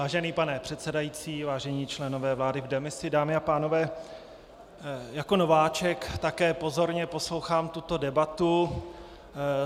Vážený pane předsedající, vážení členové vlády v demisi, dámy a pánové, jako nováček také pozorně poslouchám tuto debatu.